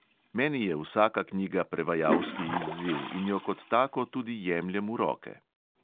Meni je vsaka knjiga prevajalski izziv in jo kot tako tudi jemljem v roke.